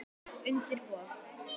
Undir borð.